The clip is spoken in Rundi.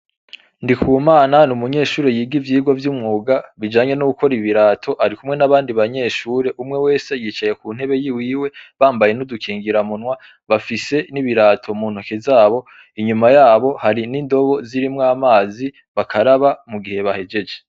Ndikumana ni umunyeshuri yiga ivyirwa vy'umwuga bijanye no gukora ibirato ari kumwe n'abandi banyeshure umwe wese yicaye ku ntebe yiwiwe bambaye n'udukingira munwa bafise n'ibirato mu ntoke zabo inyuma yabo hari n'indobo zirimwo amazi bakaraba mu gihe bahejeje.